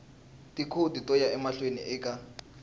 tikhodi to ya emahlweni eka